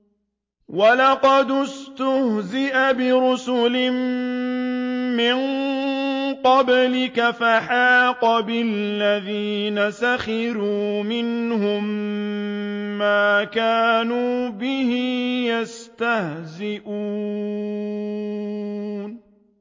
وَلَقَدِ اسْتُهْزِئَ بِرُسُلٍ مِّن قَبْلِكَ فَحَاقَ بِالَّذِينَ سَخِرُوا مِنْهُم مَّا كَانُوا بِهِ يَسْتَهْزِئُونَ